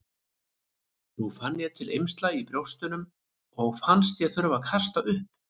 Nú fann ég til eymsla í brjóstunum og fannst ég þurfa að kasta upp.